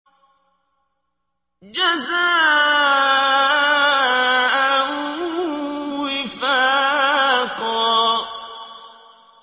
جَزَاءً وِفَاقًا